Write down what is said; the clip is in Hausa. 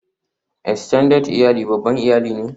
Extended iyali babban iyali ne